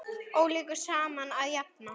Ólíku saman að jafna.